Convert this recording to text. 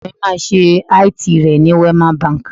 Ọmọ mi máa ṣe IT rẹ ní Wema Bank.